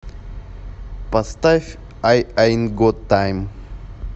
поставь ай аинт гот тайм